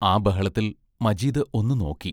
ആ ബഹളത്തിൽ മജീദ് ഒന്നു നോക്കി.